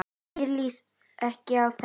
Mér líst ekki á þetta.